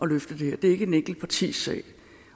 løfte det her det er ikke et enkelt partis sag